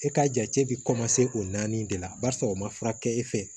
E k'a jate bɛ o naani de la barisa o ma furakɛ e fɛ